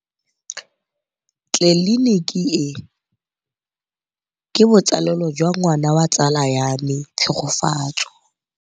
Tleliniki e, ke botsalêlô jwa ngwana wa tsala ya me Tshegofatso.